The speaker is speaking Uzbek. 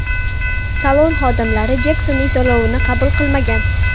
Salon xodimlari Jeksonning to‘lovini qabul qilmagan.